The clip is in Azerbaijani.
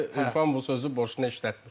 Ürfan bu sözü boşuna işlətmir.